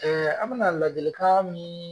an bɛna lajɛlikan min